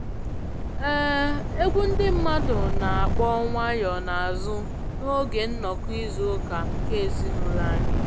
um Egwu ndị mmadụ na-akpọ nwayọ n'azụ n'oge nnọkọ izu ụka nke ezinụlọ anyị